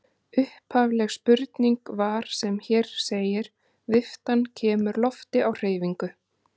Upphafleg spurning var sem hér segir: Viftan kemur lofti á hreyfingu.